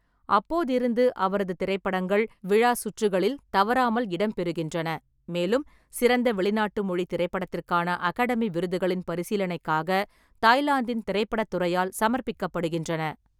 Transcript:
அப்போதிருந்து, அவரது திரைப்படங்கள் விழா சுற்றுகளில் தவறாமல் இடம்பெறுகின்றன, மேலும் சிறந்த வெளிநாட்டு மொழி திரைப்படத்திற்கான அகாடமி விருதுகளின் பரிசீலனைக்காக தாய்லாந்தின் திரைப்படத் துறையால் சமர்ப்பிக்கப்படுகின்றன.